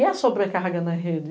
E a sobrecarga na rede.